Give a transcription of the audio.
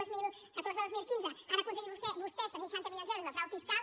dos mil catorze dos mil quinze han aconseguit vostès tres cents i seixanta milions d’euros de frau fiscal